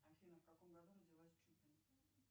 афина в каком году родилась чупин